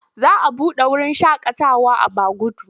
Za a buɗe wurin shakatawa a Baguda.